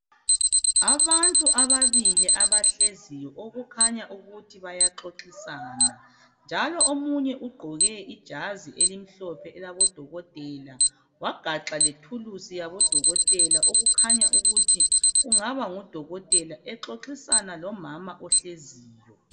Abantu ababili abahleziyo okukhanya ukuthi bayaxoxisana njalo omunye ugqoke ijazi elimhlophe elabodokotela wagaxa lethuluzi yabodokotela okukhanya ukuthi kungaba ngudokotela exoxisana lomama ohleziyo.